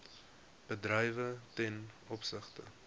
bedrywe ten opsigte